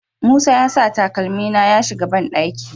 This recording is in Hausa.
Musa ya sa takalmi na ya shiga banɗaki